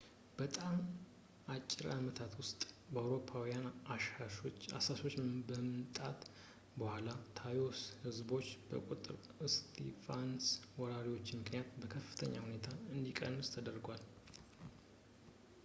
በጣም በአጭር አመታት ውስጥ ከአውሮፓውያን አሳሾች መምጣት በኋላ የtainos ህዝቦች ቁጥር በስፓኒሽ ወራሪዎች ምክንያት በከፍተኛ ሁኔታ እንዲቀንስ ተደርጓል